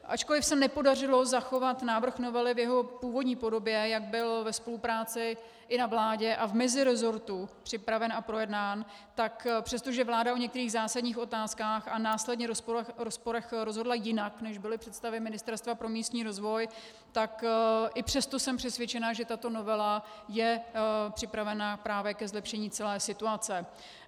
Ačkoliv se nepodařilo zachovat návrh novely v jeho původní podobě, jak byl ve spolupráci i na vládě a v mezirezortu připraven a projednán, tak přestože vláda o některých zásadních otázkách a následně rozporech rozhodla jinak, než byly představy Ministerstva pro místní rozvoj, tak i přesto jsem přesvědčena, že i tato novela je připravena právě ke zlepšení celé situace.